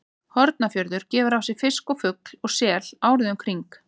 Hornafjörður gefur af sér fisk og fugl og sel árið um kring.